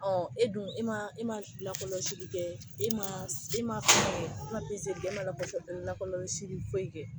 Ɔ e dun i ma i ma lakɔlɔsili kɛ i ma e ma foyi i ma e ma lakɔlɔsili foyi kɛ